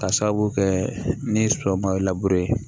K'a sababu kɛ ni sɔ ma ye